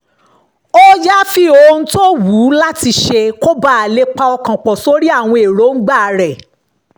ó yááfì àwọn ohun tó wù ú láti ṣe kó bàa lè pọkàn pọ̀ sórí àwọn èròǹgbà rẹ̀